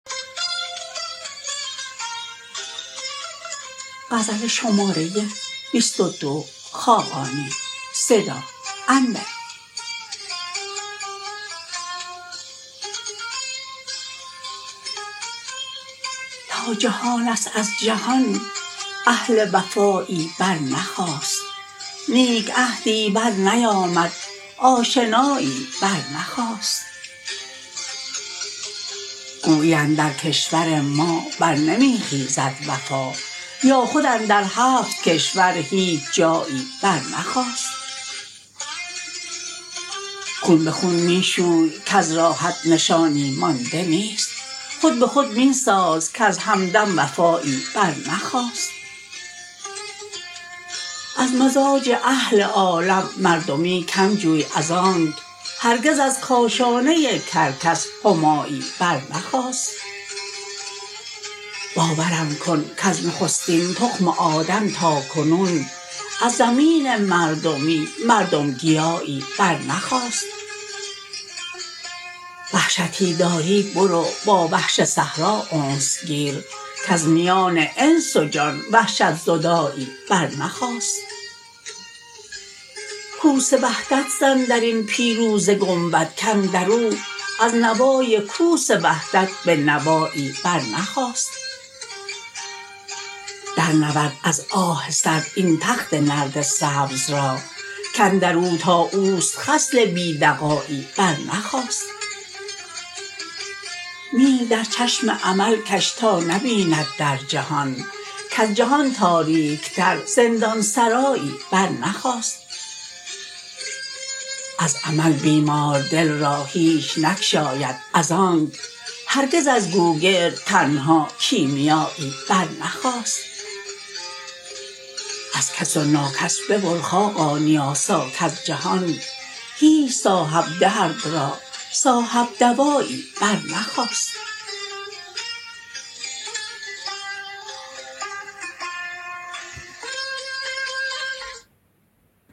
تا جهان است از جهان اهل وفایی برنخاست نیک عهدی برنیامد آشنایی برنخاست گویی اندر کشور ما برنمی خیزد وفا یا خود اندر هفت کشور هیچ جایی برنخاست خون به خون می شوی کز راحت نشانی مانده نیست خود به خود می ساز کز همدم وفایی برنخاست از مزاج اهل عالم مردمی کم جوی از آنک هرگز از کاشانه کرکس همایی برنخاست باورم کن کز نخستین تخم آدم تا کنون از زمین مردمی مردم گیایی برنخاست وحشتی داری برو با وحش صحرا انس گیر کز میان انس و جان وحشت زدایی برنخاست کوس وحدت زن درین پیروزه گنبد کاندراو از نوای کوس وحدت به نوایی برنخاست درنورد از آه سرد این تخت نرد سبز را کاندر او تا اوست خصل بی دغایی برنخاست میل در چشم امل کش تا نبیند در جهان کز جهان تاریک تر زندان سرایی برنخاست از امل بیمار دل را هیچ نگشاید از آنک هرگز از گوگرد تنها کیمیایی برنخاست از کس و ناکس ببر خاقانی آسا کز جهان هیچ صاحب درد را صاحب دوایی برنخاست